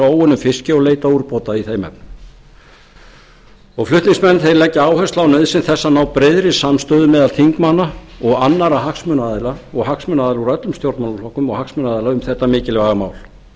óunnum fiski og leitað úrbóta í þeim efnum flutningsmenn leggja áherslu á nauðsyn þess að ná breiðri samstöðu meðal þingmanna og annarra hagsmunaaðila og hagsmunaaðila úr öllum stjórnmálaflokkum um þetta mikilvæga mál